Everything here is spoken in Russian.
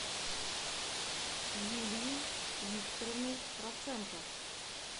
юлией викторовной проценко